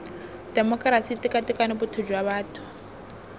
temokerasi tekatekano botho jwa batho